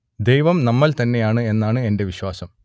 ദൈവം നമ്മൾ തന്നെയാണ് എന്നാണ് എന്റെ വിശ്വാസം